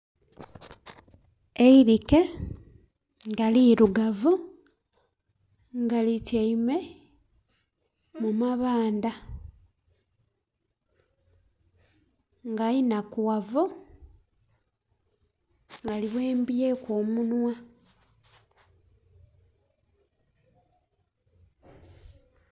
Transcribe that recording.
Eirike nga lirugavu nga lityaime mu mamabandha nga inhakughavu nga lighembyeku omunhwa.